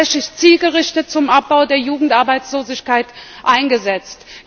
Wird es tatsächlich zielgerichtet zum Abbau der Jugendarbeitslosigkeit eingesetzt?